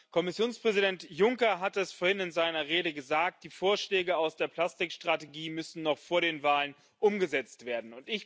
Kommissionspräsident Juncker hat es vorhin in seiner Rede gesagt Die Vorschläge aus der Plastik Strategie müssen noch vor der Wahl umgesetzt werden.